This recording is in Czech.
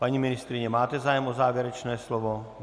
Paní ministryně, máte zájem o závěrečné slovo?